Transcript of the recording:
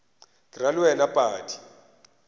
ke ra le wena padi